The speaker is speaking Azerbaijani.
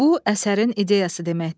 Bu əsərin ideyası deməkdir.